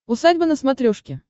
усадьба на смотрешке